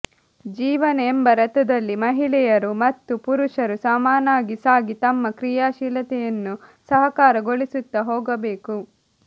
ಜೀವನ ಎಂಬ ರಥದಲ್ಲಿ ಮಹಿಳೆ ಯರು ಮತ್ತು ಪುರುಷರು ಸಮಾನಾಗಿ ಸಾಗಿ ತಮ್ಮ ಕ್ರಿಯಾಶೀಲತೆಯನ್ನು ಸಹಕಾರಗೊಳಿಸುತ್ತಾ ಹೋಗಬೇಕು